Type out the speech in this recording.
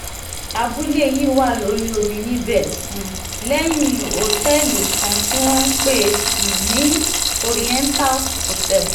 abúlé yìí wà lórí omi níbẹ̀ um lẹ́yìn òtẹ́ẹ̀lì kan tí wọ́n ń pè um ní oriental hotel